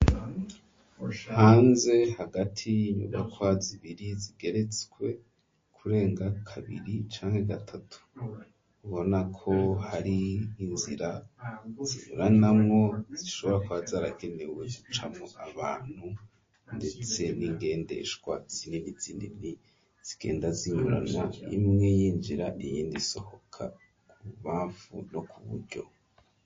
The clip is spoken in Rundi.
Hanze hagati y'inyubakwa zibiri zigeretswe kurenga kabiri canke gatatu ubona ko hari inzira zinyuranamwo zishoba kwa zaragenewe zicamwo abantu ndetse n'ingendeshwa zinini zinini zigenda zinyurana imwe y'injira inyindi sohoka mu bamvu no kuburyo.